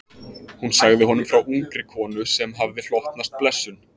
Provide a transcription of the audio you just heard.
Hún sagði honum frá ungri konu sem hafði hlotnast blessun